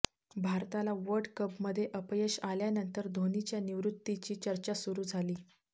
भारताला वर्ल्ड कपमध्ये अपयश आल्यानंतर धोनीच्या निवृत्तीची चर्चा सुरु झाली